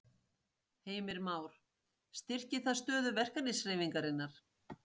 Heimir Már: Styrkir það stöðu verkalýðshreyfingarinnar?